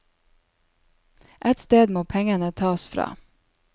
Et sted må pengene tas fra.